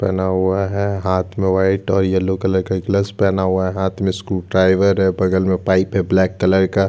पहना हुआ है हाँथ में वाइट और येलो कलर का ग्लव्स पहना हुआ है हाथ मे स्क्रू ड्राइवर हैं बगल मे पाइप हैं ब्लैक कलर का--